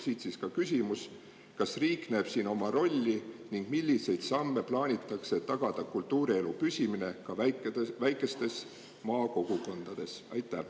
Siit ka küsimus: kas riik näeb siin oma rolli ning milliseid samme plaanitakse, et tagada kultuurielu püsimine ka väikestes maakogukondades?